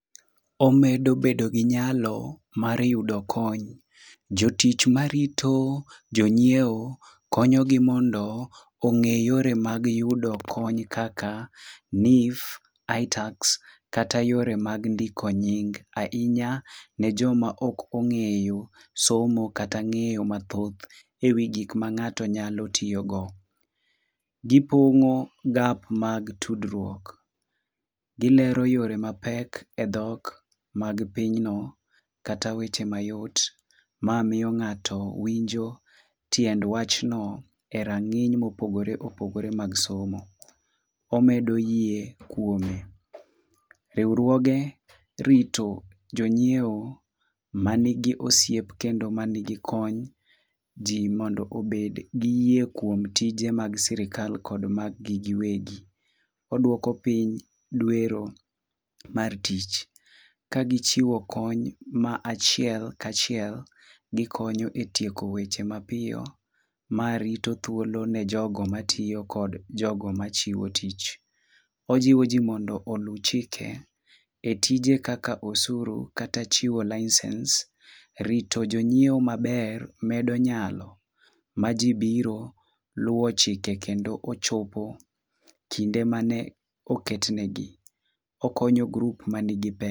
Omedo bedo gi nyalo mar yudo kony. Jotich marito jonyiewo konyogi mondo ong'e yore mag yudo kony kaka KNIF, itax kata yore mag ndiko nying. Ahinya, ne joma ok ong'eyo somo kata ng'eyo mathoth ewi gik ma ng'ato nyalo tiyogo. Gipongo gap mag tudruok. Gilero yore mag pek e dhok mag pinyno kata weche mayot mamiyo ng'ato winjo tiend wachno e rang'iny mopogore opogore mag somo. Omedo yie kuome. Riwruoge rito jonyiewo man gi osiep kendo man gi kony ji mondo obed gi yie kuom tije mag sirkal kod mag gi giwegi. Oduoko piny dwero mar tich. Kagichiwo kony ma achiel ka chiel, gikonyo e tieko weche mapiyo. Maarito thuolo ne jogo tiyo kod jogo marito tich. Ojiwo ji mondo olu chike. e tije kaka osuru kata chiwo license, rito jonyiewo maber medo nyalo maji biro luwo chike kendo ochopo kinde mane oket negi. Okonyo [c s] group [c s] man gi pek.